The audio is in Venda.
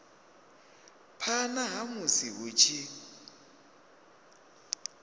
phana ha musi hu tshi